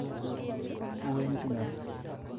Uwen chu nia